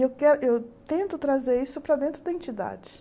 E eu tento trazer isso para dentro da entidade.